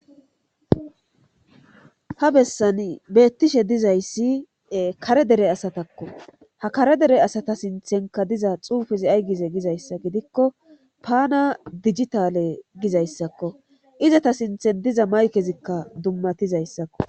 ha bessan beettishe dizayssie kare dere asatakko ha kare dere asata sinthenka diza xuufezi aygize gizayssa gidikko paana digitale gizayssakko iza ta sinthen diza maykezikka dummatizayssakko